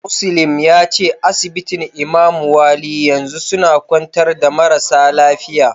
Muslim yace asibitin Imamu wali yanzu suna kwantar da marasa lafiya.